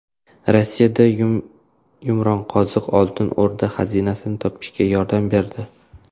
Rossiyada yumronqoziq Oltin O‘rda xazinasini topishda yordam berdi.